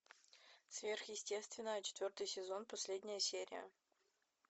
сверхъестественное четвертый сезон последняя серия